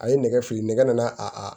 A ye nɛgɛ fili nɛgɛ nana a